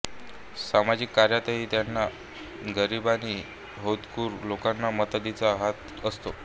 सामाजिक कार्यातही त्यांचा गरीब आणि होतकरू लोकांना मदतीचा हात असतो